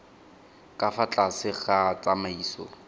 ka fa tlase ga tsamaiso